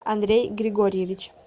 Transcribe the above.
андрей григорьевич